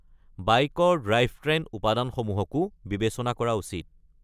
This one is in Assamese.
বাইকৰ ড্ৰাইভট্ৰেন উপাদানসমূহকো বিবেচনা কৰা উচিত।